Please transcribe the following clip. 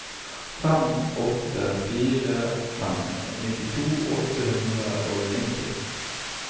fem åtte fire fem nittito åtte hundre og nitti